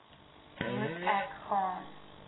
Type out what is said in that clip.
moet ek gaan